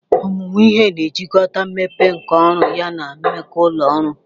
Ọmụmụ ihe na-ejikọta mmepe nka ọrụ yana mmekọ ụlọ ọrụ.